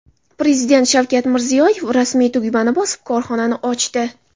Prezident Shavkat Mirziyoyev ramziy tugmani bosib, korxonani ochdi.